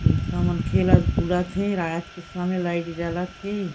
लइका मन खेलत उलत हे रात के समय लाइट जलत हे।